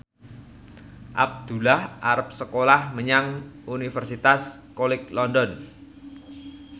Abdullah arep sekolah menyang Universitas College London